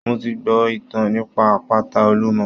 Mo ti gbọ́ ìtàn nípa àpáta Olúmọ